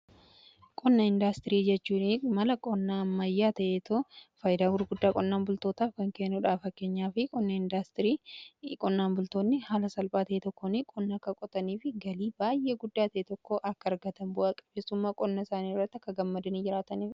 Qonna indaastirii jechuun mala qonnaa ammayyaa ta'eetoo faayidaa gurguddaa qonnaan bultootaa f kanbkeenuudhaa. Fakkeenyaaf qonna indaastirii qonnaan bultoonni haala salphaa ta'ee tokkon qonnaa akka qotanii f galii baay'ee guddaa ta'ee tokko akka argatan bu'a qabeessummaa qonnaa isaanii irratti akka gammadanii jiraataniif.